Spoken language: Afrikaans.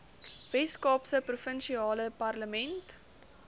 weskaapse provinsiale parlement